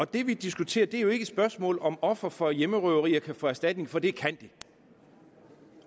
det vi diskuterer er jo ikke et spørgsmål om om ofre for hjemmerøverier kan få erstatning for det kan de